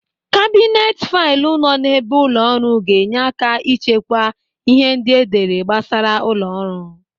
Kabinet faịlụ nọ n'ebe ụlọ ọrụ ga-enye aka ịchekwa ịhe ndị edere gbasara ụlọ ọrụ.